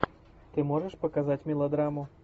ты можешь показать мелодраму